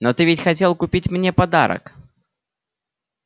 но ты ведь хотел купить мне подарок